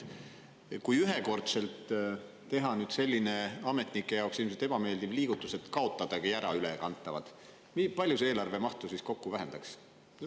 Kui ühekordselt teha selline ametnike jaoks ilmselt ebameeldiv liigutus, et kaotada ära ülekantavad, kui palju see kokku eelarve mahtu vähendaks?